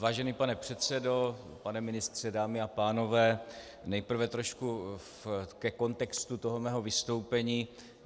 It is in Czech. Vážený pane předsedo, pane ministře, dámy a pánové, nejprve trošku ke kontextu toho mého vystoupení.